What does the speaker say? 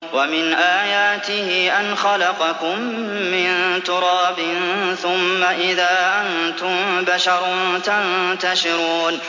وَمِنْ آيَاتِهِ أَنْ خَلَقَكُم مِّن تُرَابٍ ثُمَّ إِذَا أَنتُم بَشَرٌ تَنتَشِرُونَ